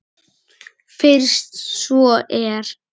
Fyrst svo er.